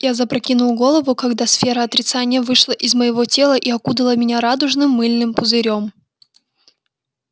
я запрокинул голову когда сфера отрицания вышла из моего тела и окутала меня радужным мыльным пузырём